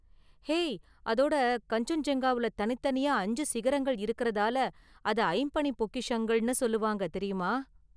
Hey, அதோட கன்சென்ஜுங்காவுல தனித்தனியா அஞ்சு சிகரங்கள் இருக்கிறதால அதை "ஐம்பனிப் பொக்கிஷங்கள்"ன்னு சொல்வாங்க, தெரியுமா?